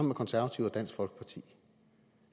med konservative og dansk folkeparti